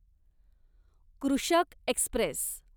कृषक एक्स्प्रेस